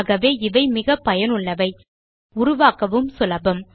ஆகவே இவை மிக பயனுள்ளவை உருவாக்கவும் சுலபம்